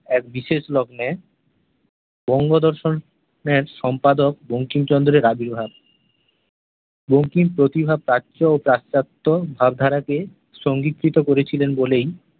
এক বিশেষ লগ্নে বঙ্গদর্শন -এর সম্পাদক বঙ্কিমচন্দ্রের আবির্ভাব । বঙ্কিম প্রতিটা প্রাচ্য ও পাশ্চাত্য ভাবধারা কে সন্ধিকৃত করেছিলেন বলেই